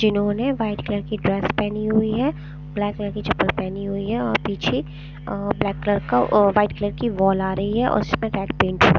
जिन्होंने white colour की dress पहनी हुई हैं ब्लैक कलर की चप्पल पहनी हुई हैं और पीछे ब्लैक कलर का वाइट कलर की वॉल आ रही हैं और उस पेट पेंट --